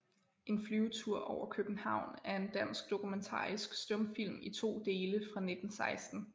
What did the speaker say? En Flyvetur over København er en dansk dokumentarisk stumfilm i to dele fra 1916